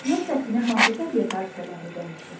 Yer səthini hansı təbiət hadisələri dəyişir?